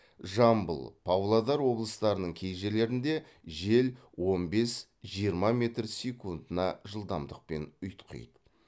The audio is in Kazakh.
жамбыл павлодар облыстарының кей жерлерінде жел он бес жиырма метр секундына жылдамдықпен ұйтқиды